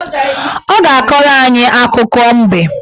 Ọ ga-akọrọ anyị akụkọ mbe